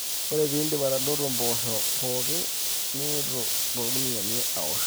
ore pee iindip atadoto impoosho pooki niitu toorkuniyiani aosh